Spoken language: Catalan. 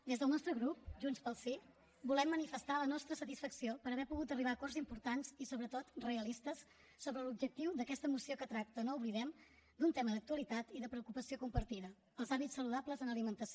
des del nostre grup junts pel sí volem manifestar la nostra satisfacció per haver pogut arribar a acords importants i sobretot realistes sobre l’objectiu d’aquesta moció que tracta no ho oblidem d’un tema d’actualitat i de preocupació compartida els hàbits saludables en alimentació